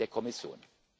der Kommission